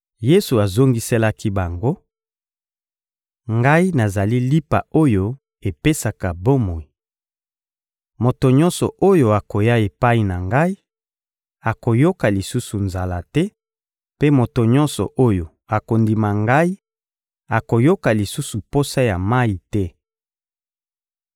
Yesu azongiselaki bango: — Ngai nazali lipa oyo epesaka bomoi. Moto nyonso oyo akoya epai na Ngai akoyoka lisusu nzala te, mpe moto nyonso oyo akondima Ngai akoyoka lisusu posa ya mayi te.